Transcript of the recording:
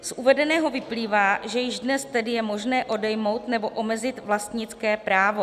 Z uvedeného vyplývá, že již dnes tedy je možné odejmout nebo omezit vlastnické právo.